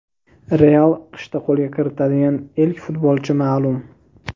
"Real" qishda qo‘lga kiritadigan ilk futbolchi maʼlum.